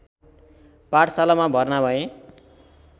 पाठशालामा भर्ना भए